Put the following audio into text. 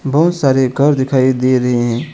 बहुत सारे घर दिखाई दे रहे हैं।